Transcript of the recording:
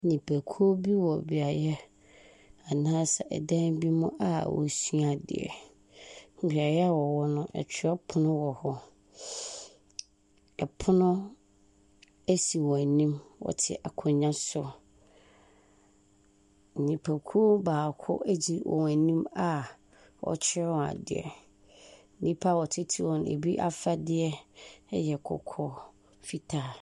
Nnipakuo bi wɔ beaeɛ anaasɛ ɛdan bi mu a wosua adeɛ. Beaeɛ a wɔwɔ no ɛtwerɛ pono wɔhɔ. Ɛpono esi wɔn anim. Wɔte akonwa so. Nnipakuo baako edi wɔn anim a ɔkyerɛ wɔn adeɛ. Nnipa no titiriw ebi afadeɛ ɛyɛ kɔkɔɔ, fitaa.